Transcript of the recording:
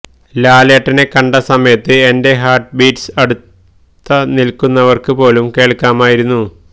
ലാലേട്ടനെ കണ്ട സമയത്ത് എന്റെ ഹാര്ട്ട് ബീറ്റ്സ് അടുത്ത നില്ക്കുന്നവര്ക്ക് പോലും കേള്ക്കാമായിരുന്നു